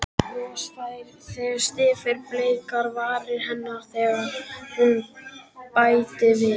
Bros færðist yfir bleikar varir hennar þegar hún bætti við